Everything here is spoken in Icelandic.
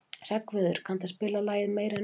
Hreggviður, kanntu að spila lagið „Meira En Nóg“?